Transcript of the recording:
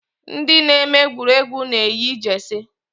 Ndị na-eme egwuregwu na-eyi Jeesi